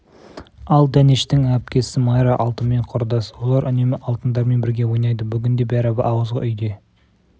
ал дәнештің әпкесі майра алтынмен құрдас олар үнемі алтындармен бірге ойнайды бүгін де бәрі ауызғы үйде